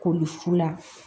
Koli fu la